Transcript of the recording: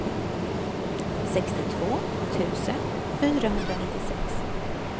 sextiotvå tusen fyrahundranittiosex